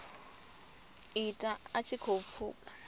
ita a tshi khou pfuka